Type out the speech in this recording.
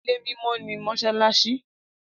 Ilẹ̀ mímọ́ ni Mósálási